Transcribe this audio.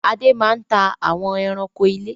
Adé máa ń ta àwọn ẹranko ilé